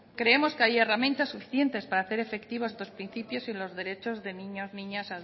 creemos que hay herramientas suficientes para hacer efectivos estos principios y los derechos de niños niñas